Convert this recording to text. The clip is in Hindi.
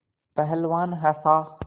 पहलवान हँसा